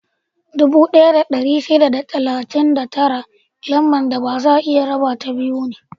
Dubu ɗaya da ɗari shida da talatin da tara Lambar da baza a iya rabata biyu ne.